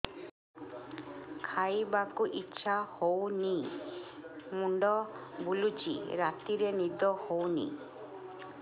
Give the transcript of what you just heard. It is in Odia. ଖାଇବାକୁ ଇଛା ହଉନି ମୁଣ୍ଡ ବୁଲୁଚି ରାତିରେ ନିଦ ହଉନି